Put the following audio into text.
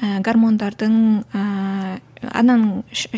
ііі гармондардың ыыы ананың